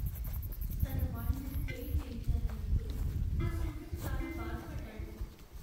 తన వాళ్ళను ఫెయిల్ చేయించానని అనుకొని ఆ స్టూడెంట్ చాలా బాధపడ్డాడు.